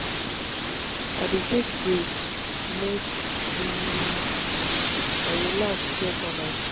i dey take breaks make um i relax care for mysef.